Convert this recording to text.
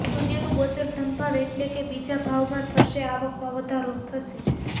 સૂર્યનું ગોચર ધનભાવ એટલે કે બીજા ભાવમાં થશે આવકમાં વધારો થશે